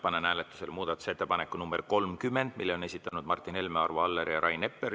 Panen hääletusele muudatusettepaneku nr 30, mille on esitanud Martin Helme, Arvo Aller ja Rain Epler.